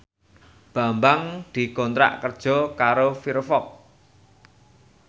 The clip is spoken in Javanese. Bambang dikontrak kerja karo Firefox